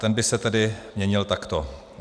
Ten by se tedy měnil takto: